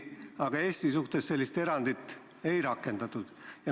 Aga Eesti suhtes sellist erandit ei rakendatud.